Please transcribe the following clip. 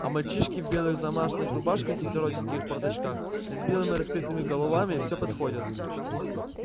а мальчишки в белых замашных рубашках и коротеньких порточках с белыми раскрытыми головами всё подходят